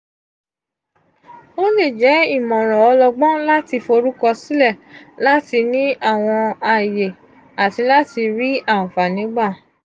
o le jẹ imọran ọlọgbọn lati forukọsilẹ lati ni awọn aye ati lati ri anfani gba.